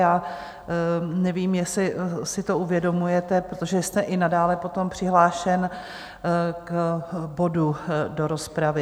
Já nevím, jestli si to uvědomujete, protože jste i nadále potom přihlášen k bodu do rozpravy.